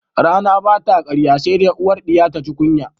Rana ba ta ƙarya se de uwar ɗiya taji kunya